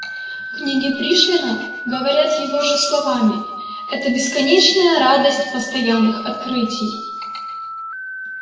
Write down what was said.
книги пришвина говоря его же словами это бесконечная радость постоянных открытий